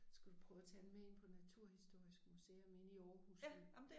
Skulle du prøve at tage dem med ind på Naturhistorisk Museum inde i Aarhus